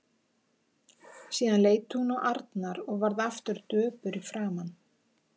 Síðan leit hún á Arnar og varð aftur döpur í framan.